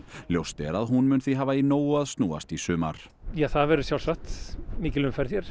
ljóst er að hún mun því hafa í nógu að snúast í sumar það verður sjálfsagt mikil umferð hér